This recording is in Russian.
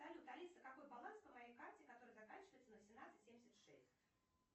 салют алиса какой баланс на моей карте которая заканчивается на семнадцать семьдесят шесть